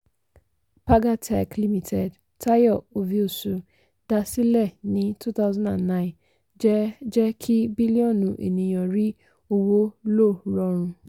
pagatech limited tayo oviosu dá sílẹ̀ ní two thousand and nine jẹ́ jẹ́ kí bílíọ̀nù ènìyàn rí owó lò rọrùn.